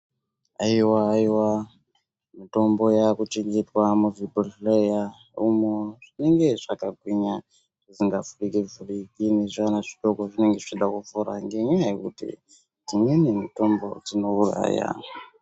Haiwa iwa mitombo yakuchengetwa muzvibhohleya umo zvinenge zvakagwinya zvinenge zvisingavhuriki vhuriki nezvivana zvidoko zvinenge zvichida kuvhura ngenyaya yekuti dzimweni mitombo dzinouraya.